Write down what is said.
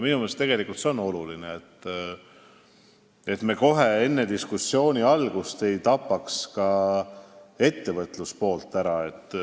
Minu meelest on see oluline, et me kohe, enne diskussiooni algust ei tapaks ettevõtluspoolt ära.